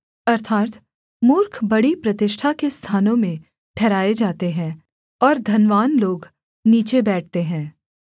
अर्थात् मूर्ख बड़ी प्रतिष्ठा के स्थानों में ठहराए जाते हैं और धनवान लोग नीचे बैठते हैं